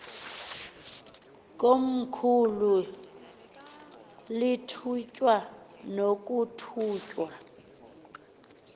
komkhulu lithunywe nokuthunywa